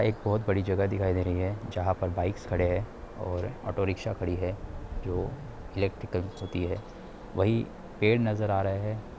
एक बहुत बड़ी जगह दिखाई दे रही है जहां पर बाइक्स खड़े है और ऑटो-रिक्शा खड़ी है जो इलेक्ट्रिकल्स होती है वही पेड़ नजर आ रहे है।